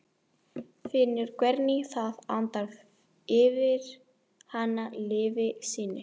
Finnur hvernig það andar yfir hana lífi sínu.